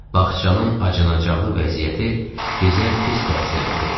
Baxçanın acınacaqlı vəziyyəti bizə pis təsir elədi.